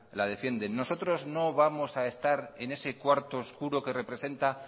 la defienden nosotros no vamos a estar en ese cuarto oscuro que representa